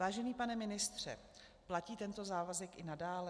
Vážený pane ministře, platí tento závazek i nadále?